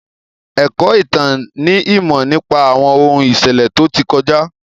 Ẹ̀kọ́ ìtàn ni ìmọ̀ nípa àwọn ohun ìṣẹ̀lẹ̀ tó ti kọjá.